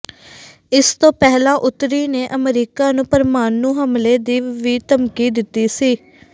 ਇਸ ਤੋਂ ਪਹਿਲਾਂ ਉੱਤਰੀ ਨੇ ਅਮਰੀਕਾ ਨੂੰ ਪ੍ਰਮਾਣੂ ਹਮਲੇ ਦੀ ਵੀ ਧਮਕੀ ਦਿੱਤੀ ਹੈ